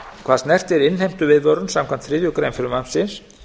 hvað snertir innheimtuviðvörun samkvæmt þriðju greinar frumvarpsins